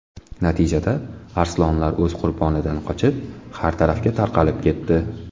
Natijada arslonlar o‘z qurbonidan qochib, har tarafga tarqalib ketdi.